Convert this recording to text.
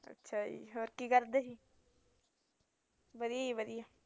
ਅੱਛਾ ਜੀ ਹੋਰ ਕੀ ਕਰਦੇ ਵਧੀਆ ਜੀ